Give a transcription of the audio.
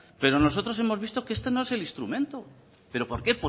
pero nosotros hemos visto que este no es el instrumento pero por qué